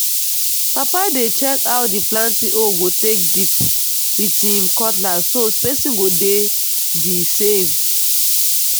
papa dey check how the planting hole take dip with him cutlass so spacing go dey the same.